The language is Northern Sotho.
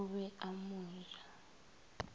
o be a mo ja